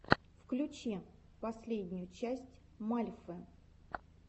включи последнюю часть мальфы